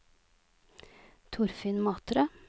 Torfinn Matre